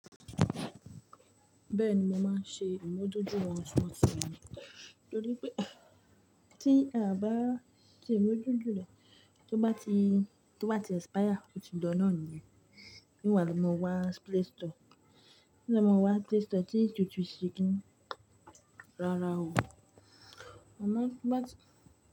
Bẹ́ẹ̀ni, mo máa ń ṣe ìmójútó wọn tuntun nítorí pé tí a bá ṣe ìmójútó rẹ̀, tó bá ti, tó bá ti expire ó ti lo na nìyẹn. Nígbà tí mo wa Play Store, nígbà tí mo wá Play Store tí n túntún ṣe kí n lára òun, mo máa bá tí.